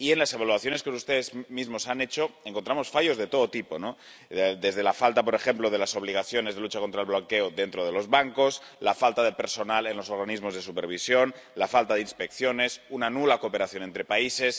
Y, en las evaluaciones que ustedes mismos han hecho, encontramos fallos de todo tipo desde la falta, por ejemplo, de las obligaciones de lucha contra el blanqueo dentro de los bancos, la falta de personal en los organismos de supervisión, la falta de inspecciones, una nula cooperación entre países.